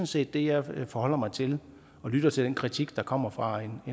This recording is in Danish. set det jeg forholder mig til jeg lytter til den kritik der kommer fra en